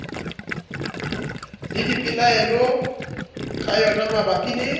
le dipelaelo ka yonamabapi le